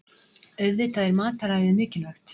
Auðvitað er mataræðið mikilvægt